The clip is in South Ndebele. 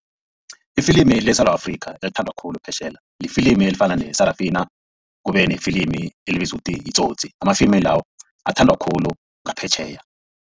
Ifilimi leSewula Afrika elithandwa khulu phetjheya lifilimu elifana ne-Sarafina kube nefilimi elibizwa ukuthi yiTsotsi amafilimi lawo athandwa khulu ngaphetjheya.